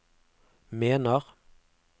mener